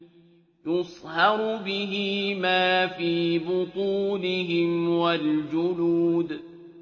يُصْهَرُ بِهِ مَا فِي بُطُونِهِمْ وَالْجُلُودُ